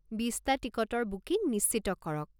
বিচটা টিকটৰ বুকিং নিশ্চিত কৰক।